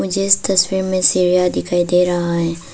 इस तस्वीर में सीढ़ियां दिखाई दे रहा है।